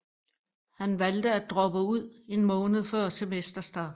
Han valgte at droppe ud en måned før semesterstart